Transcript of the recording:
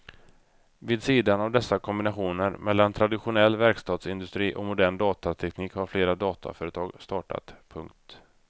Vid sidan av dessa kombinationer mellan traditionell verkstadsindustri och modern datateknik har flera dataföretag startat. punkt